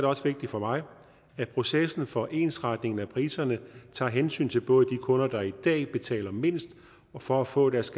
også vigtigt for mig at processen for ensretningen af priserne tager hensyn til både de kunder der i dag betaler mindst for at få deres